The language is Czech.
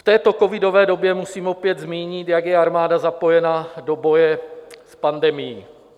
V této covidové době musím opět zmínit, jak je armáda zapojena do boje s pandemií.